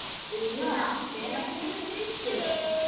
Una, hvenær kemur þristurinn?